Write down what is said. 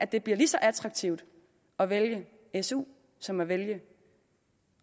det blev lige så attraktivt at vælge su som at vælge